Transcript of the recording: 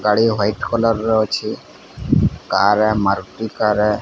ଗାଡି white colour ର ଅଛି କାରରେ ମାରଟିକାରେ --